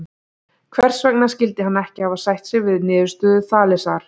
Hvers vegna skyldi hann ekki hafa sætt sig við niðurstöðu Þalesar?